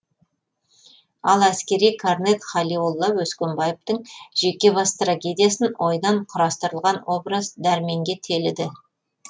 ал әскери корнет халиолла өскенбаевтің жеке бас трагедиясын ойдан құрастырылған образ дәрменге теліді